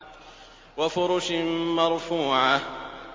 وَفُرُشٍ مَّرْفُوعَةٍ